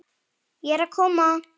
Ég er að koma